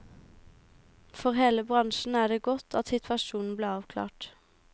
For hele bransjen er det godt at situasjonen ble avklart.